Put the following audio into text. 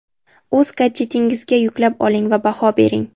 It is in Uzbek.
o‘z gadjetingizga yuklab oling va baho bering.